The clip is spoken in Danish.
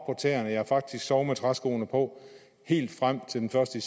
tæerne ja faktisk sove med træskoene på helt frem til den første